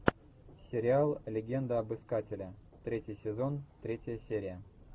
сериал легенда об искателе третий сезон третья серия